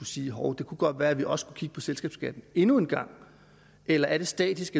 sige hov det kunne godt være at vi også skulle kigge på selskabsskatten endnu en gang eller er det statisk